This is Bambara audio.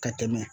Ka tɛmɛ